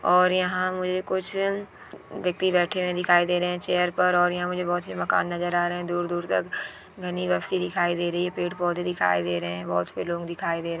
और ईहा मुझे कुछ व्यक्ति बैठे हुए दिखाई दे रहे हैं चेयर पर और यह मुझे बहुत से मकान नजर आ रहे हैं दूर-दूर तक घनी ब्यापसी दिखाई दे रही है पेड़ पौधे दिखाई दे रहे हैं। बहत सि लोग दिखाई दे--